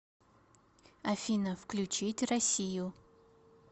афина включить россию